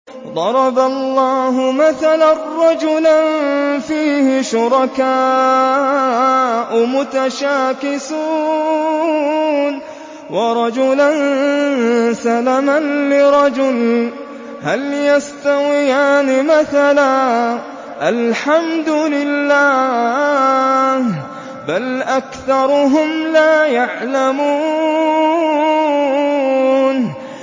ضَرَبَ اللَّهُ مَثَلًا رَّجُلًا فِيهِ شُرَكَاءُ مُتَشَاكِسُونَ وَرَجُلًا سَلَمًا لِّرَجُلٍ هَلْ يَسْتَوِيَانِ مَثَلًا ۚ الْحَمْدُ لِلَّهِ ۚ بَلْ أَكْثَرُهُمْ لَا يَعْلَمُونَ